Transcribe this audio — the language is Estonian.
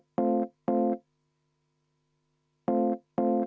Rene Kokk, palun!